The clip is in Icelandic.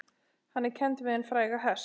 Hann er kenndur við hinn fræga hest